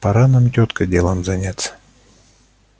пора нам тётка делом заняться